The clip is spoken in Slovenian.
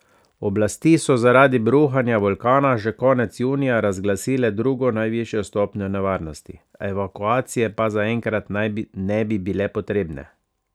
Oblasti so zaradi bruhanja vulkana že konec junija razglasile drugo najvišjo stopnjo nevarnosti, evakuacije pa zaenkrat naj ne bi bile potrebne.